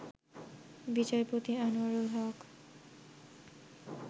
বিচারপতি আনোয়ারুল হক